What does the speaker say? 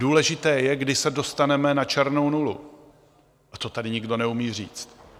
Důležité je, kdy se dostaneme na černou nulu, a to tady nikdo neumí říct.